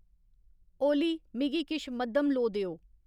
ओली मिगी किश मद्धम लोऽ देओ